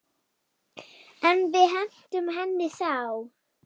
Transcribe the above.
En við hentum henni þá.